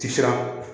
Ti siran